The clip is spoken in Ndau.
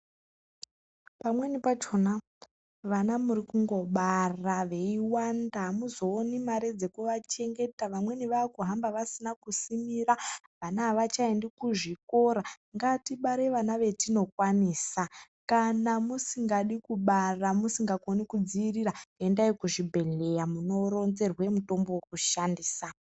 Pamweni pachona vana muri kungobara veiwanda .Amuzooni mare dzekuchengeta. Vamweni zvaakuhamba vasina kusimira, vana avachaendi kuzvikora. Ngatibare vana vetinokwanisa. Kana musingadi kubara musingakoni kudziirira, endai kuzvibhedhleya munoronzerwe mutombo wekushandisa.